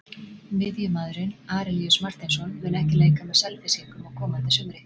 Miðjumaðurinn Arilíus Marteinsson mun ekki leika með Selfyssingum á komandi sumri.